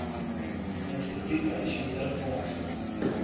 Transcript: instituut addisionele fondse